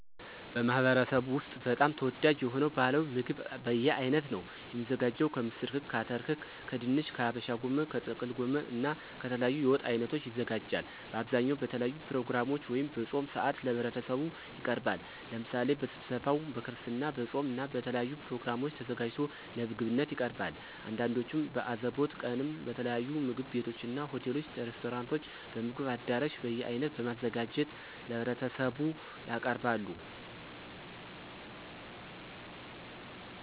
በማህበረሰቡ ወስጥ በጣም ተወዳጅ የሆነው ባህላዊ ምግብ በየአይነት ነው። የሚዘጋጀው ከምስር ክክ፣ አተር ክክ ከድንች፣ ከሀበሻ ጎመን፣ ከጥቅል ጎመን እና ከተለያዩ የወጥ አይነቶች ይዘጋጃል። በአብዛኛው በተለያዩ ፕሮግራሞች ወይም በፆም ሰአት ለህብረተሰቡ ይቀርባል። ለምሳሌ በስብሰባው፣ በክርስትና፣ በፆም እና በተለያዩ ፕሮግራሞች ተዘጋጅቶ ለምግብነት ይቀርባል። አንዳንዶቹም በአዘቦት ቀንም በተለያዩ ምግብ ቤቶችና፣ ሆቴሎች፣ ሬስቶራንቶችም፣ በምግብ አዳራሽ በየአይነት በማዘጋጀት ለህብረተሰቡ ያቀርባሉ።